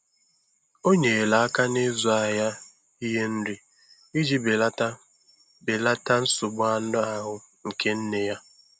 O nyere aka n'ịzụ ahịa ihe nri iji belata belata nsogbu anụ ahụ nke nne ya.